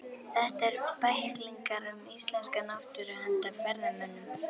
Þetta eru bæklingar um íslenska náttúru handa ferðamönnum.